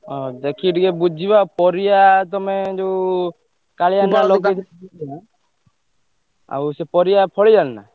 ହଁ ଦେଖିକି ଟିକେ ବୁଝିବା, ଆଉ ପରିବା ତମେ ଯୋଉ କାଳିଆ ଆଉ ସେ ପରିବା ଫଳିଲାଣି ନା?